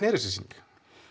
er þessi sýning